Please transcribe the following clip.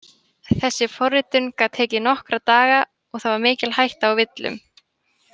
Þessi forritun gat tekið nokkra daga og það var mikil hætta á villum.